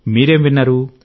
మీరేం విన్నారు